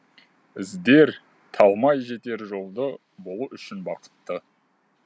іздер талмай жетер жолды болу үшін бақытты